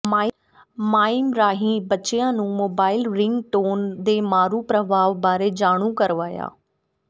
mime ਰਾਹੀਂ ਬੱਚਿਆਂ ਨੂੰ ਮੋਬਾਈਲ ਰਿੰਗ ਟੋਨ ਦੇ ਮਾਰੂ ਪ੍ਰਭਾਵ ਬਾਰੇ ਜਾਣੂ ਕਰਵਾਇਆ